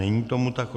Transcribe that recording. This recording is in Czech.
Není tomu tak.